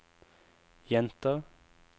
jenter